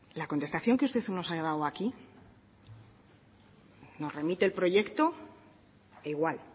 la contestación que usted nos ha dado aquí nos remite el proyecto e igual